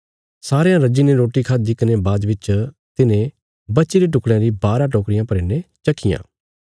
सारयां रज्जीने रोटी खाद्दि कने बाद बिच तिन्हे बचीरे टुकड़यां री बारा टोकरियां भरी ने चक्कियां